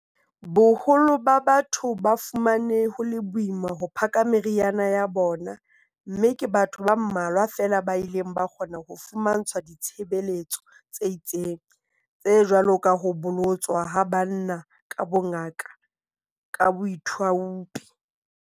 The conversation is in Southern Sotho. Boholo ba batho ba fumane ho le boima ho phaka meriana ya bona mme ke batho ba mmalwa feela ba ileng ba kgona ho fumantshwa ditshebeletso tse itseng, tse jwalo ka ho bolotswa ha banna ka bongaka ka boithaupi.